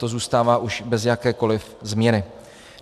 To zůstává už bez jakékoliv změny.